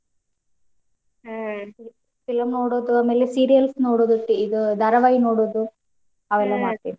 Film ನೋಡುದು ಆಮೇಲೆ serials ನೋಡುದು ಇದ್ ಧಾರಾವಾಹಿ ನೋಡೋದ್ ಮಾಡ್ತೀವಿ